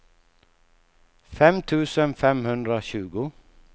fem tusen femhundratjugo